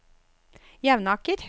Jevnaker